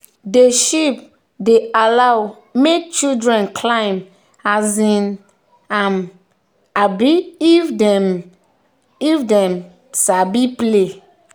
the sheep dey allow make children climb um am um if them dey um play.